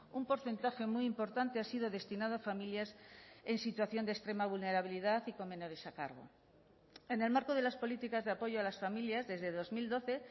un porcentaje muy importante ha sido destinado a familias en situación de extrema vulnerabilidad y con menores a cargo en el marco de las políticas de apoyo a las familias desde dos mil doce